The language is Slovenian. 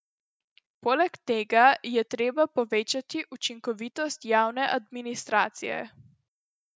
Poleg tega je treba povečati učinkovitost javne administracije.